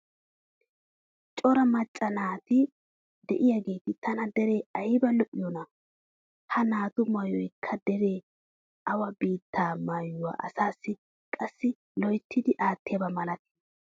cora macca naati diyaageeti tana dere aybba lo'iyoonaa! Ha naatu maayoykka dere awa biittaaa maayuwa asaassi qassi loyttidi aattiyaaba malattii?